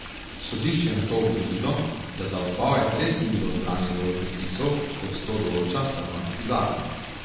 Sodišče je nato ugotovilo, da za odpoved res ni bilo zbranih dovolj podpisov, kot to določa stanovanjski zakon.